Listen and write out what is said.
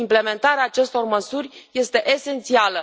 Implementarea acestor măsuri este esențială.